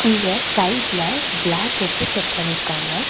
இங்க சைடுல கிளாஸ் வெச்சு செட் பண்ணியிருக்காங்க.